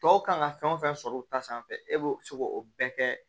Tɔw kan ka fɛn o fɛn sɔrɔ u ta sanfɛ e b'o se k'o bɛɛ kɛ